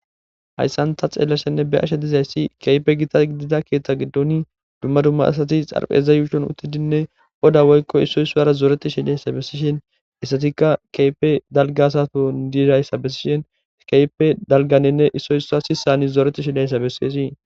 Hayssan ta xeellashenne be ashe dizayssi keype gita gidida keethta giddoni dumma dumma asati xarpeza yuushon uttidinne oda woykko issoy soara zooreti shilayssa bessishen issatikka keype dalgasaton diirayssa bessishen keype dalganenne issoysa si sani zooreti shidayssa besseesii.